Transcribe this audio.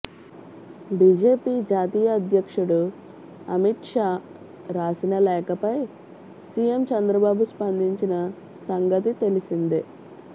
BJP జాతీయ అధ్యక్షుడు అమిత్ షా రాసిన లేఖపై సీఎం చందబాబు స్పందించిన సంగతి తెలిసిందే